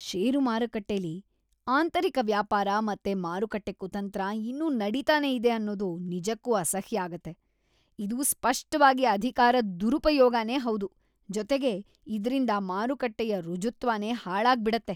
ಷೇರು ಮಾರುಕಟ್ಟೆಲಿ ಆಂತರಿಕ ವ್ಯಾಪಾರ ಮತ್ತೆ ಮಾರುಕಟ್ಟೆ ಕುತಂತ್ರ ಇನ್ನೂ ನಡೀತಾನೇ ಇದೆ ಅನ್ನೋದು ನಿಜಕ್ಕೂ ಅಸಹ್ಯ ಆಗತ್ತೆ. ಇದು ಸ್ಪಷ್ಟವಾಗಿ ಅಧಿಕಾರದ್ ದುರುಪಯೋಗನೇ ಹೌದು.. ಜೊತೆಗೆ ಇದ್ರಿಂದ ಮಾರುಕಟ್ಟೆಯ ಋಜುತ್ವನೇ ಹಾಳಾಗ್ಬಿಡತ್ತೆ.